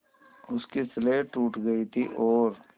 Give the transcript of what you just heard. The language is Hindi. उसकी स्लेट टूट गई थी और